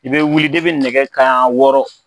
I be wuli nɛgɛ kanɲɛ wɔɔrɔ